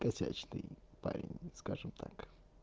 парень скажем так